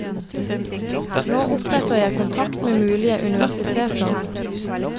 Nå oppretter jeg kontakt med mulige universiteter.